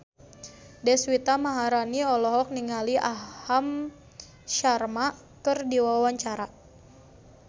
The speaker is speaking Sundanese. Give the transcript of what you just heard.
Deswita Maharani olohok ningali Aham Sharma keur diwawancara